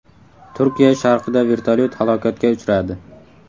Turkiya sharqida vertolyot halokatga uchradi.